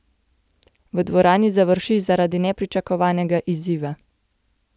V dvorani završi zaradi nepričakovanega izziva.